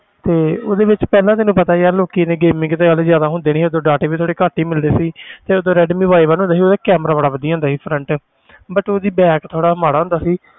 ਤੇ ਉਹਦੇ ਵਿੱਚ ਪਹਿਲਾਂ ਤੈਨੂੰ ਪਤਾ ਯਾਰ ਲੋਕੀ ਤੇ gaming ਤੇ ਉਦੋਂ ਜ਼ਿਆਦਾ ਹੁੰਦੇ ਨੀ ਸੀ ਉਦੋਂ data ਵੀ ਥੋੜ੍ਹੇ ਘੱਟ ਹੀ ਮਿਲਦੇ ਸੀ ਤੇ ਉਦੋਂ ਰੈਡਮੀ y one ਹੁੰਦਾ ਸੀ ਉਹਦਾ camera ਬੜਾ ਵਧੀਆ ਹੁੰਦਾ ਸੀ front but ਉਹਦੀ back ਥੋੜ੍ਹਾ ਮਾੜਾ ਹੁੰਦਾ ਸੀ